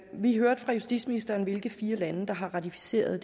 vi hørte fra justitsministeren hvilke fire lande der har ratificeret